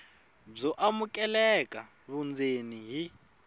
byo amukeleka vundzeni hi